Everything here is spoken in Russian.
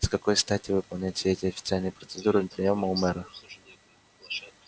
с какой стати выполнять все эти официальные процедуры приёма у мэра